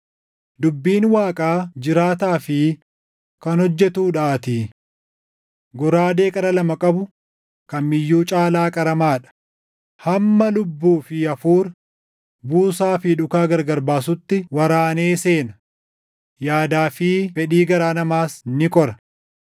Dubbiin Waaqaa jiraataa fi kan hojjetuudhaatii. Goraadee qara lama qabu kam iyyuu caalaa qaramaa dha; hamma lubbuu fi hafuura, buusaa fi dhuka gargar baasutti waraanee seena; yaadaa fi fedhii garaa namaas ni qora.